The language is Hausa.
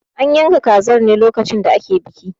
An yanka kazar ne lokacin da ake biki.